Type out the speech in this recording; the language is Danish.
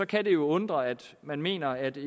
kan det undre at man mener at det